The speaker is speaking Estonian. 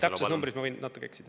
Täpsed numbrid, ma võin natuke eksida.